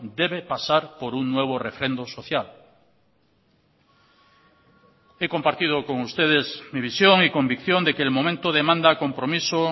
debe pasar por un nuevo refrendo social he compartido con ustedes mi visión y convicción de que el momento demanda compromiso